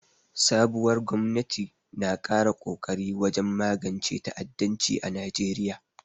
Sabuwar gwamnati na ƙara kokari wajen magance ta'addanci a Najeriya.